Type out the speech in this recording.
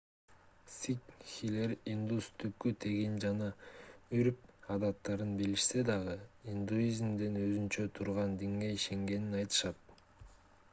сикхилер индус түпкү тегин жана үрп адаттарын билишсе дагы индуизмден өзүнчө турган динге ишенгенин айтышат